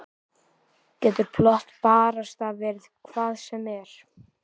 Getur plott barasta verið hvað sem er?